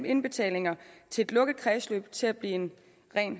indbetalinger til et lukket kredsløb til at blive en ren